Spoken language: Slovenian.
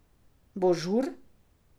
Bo žur!